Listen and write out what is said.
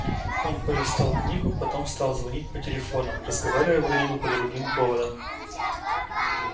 он полистал книгу потом стал звонить по телефонам разговаривая вроде бы по другим поводам